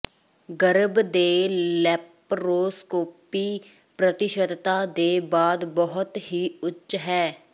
ਗਰਭ ਦੇ ਲੈਪਰੋਸਕੋਪੀ ਪ੍ਰਤੀਸ਼ਤਤਾ ਦੇ ਬਾਅਦ ਬਹੁਤ ਹੀ ਉੱਚ ਹੈ